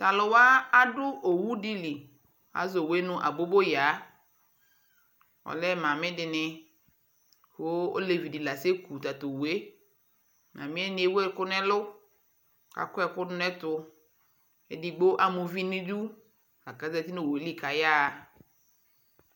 Tʊ alʊwa adʊ owu dɩ azɔ owu yɛ nʊ aboboyaa alɛ ɔsi alʊwini dɩnɩ kʊ olevidɩ la aseku owu yɛ, asiwa ewu ɛkʊ nʊ ɛlʊ kʊ akɔ ɛkʊ dʊ nʊ ɛtʊ, edigbo ama uvi nʊ idu la kʊ azati nʊ yɛ li kʊ ayaɣa